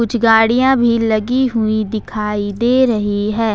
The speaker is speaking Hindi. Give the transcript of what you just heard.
गाड़ियां भी लगी हुई दिखाई दे रही है।